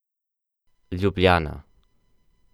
Ljubljana.